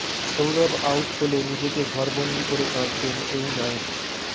Sourav out হলে নিজেকে ঘরবন্দি করে কাঁদতেন এই নাইট